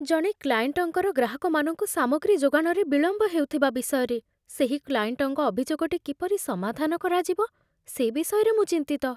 ଜଣେ କ୍ଲାଏଣ୍ଟଙ୍କର ଗ୍ରାହକମାନଙ୍କୁ ସାମଗ୍ରୀ ଯୋଗାଣରେ ବିଳମ୍ବ ହେଉଥିବା ବିଷୟରେ ସେହି କ୍ଲାଏଣ୍ଟଙ୍କ ଅଭିଯୋଗଟି କିପରି ସମାଧାନ କରାଯିବ, ସେ ବିଷୟରେ ମୁଁ ଚିନ୍ତିତ।